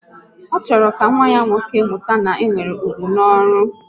Ọ chọrọ ka nwa ya nwoke mụta na e nwere ugwu n'ọrụ